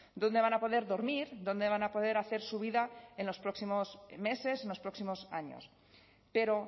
dónde van a poder dormir dónde van a poder hacer su vida en los próximos meses en los próximos años pero